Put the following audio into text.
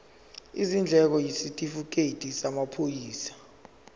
izindleko isitifikedi samaphoyisa